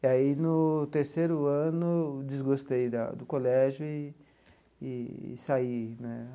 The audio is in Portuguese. E aí, no terceiro ano, desgostei da do colégio e e saí, né?